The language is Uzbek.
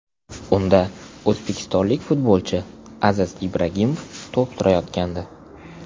Unda o‘zbekistonlik futbolchi Aziz Ibragimov to‘p surayotgandi.